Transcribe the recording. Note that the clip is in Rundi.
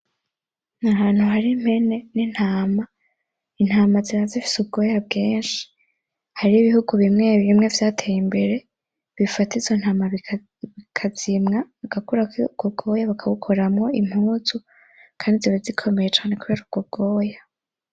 Ni ahantu hari impene n'intama, intama ziba zifise ubwoya bwinshi, hari bihugu bimwe bimwe vyateye imbere bifata izo ntama bika bikazimwa bigakurako ubwo bwoya bakabukoramwo impuzu kandi ziba zikomeye cane kubera ubwo bwoya.